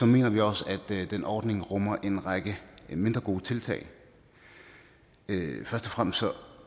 mener vi også at den ordning rummer en række mindre gode tiltag først og fremmest